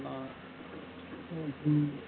ஹம் ஹம்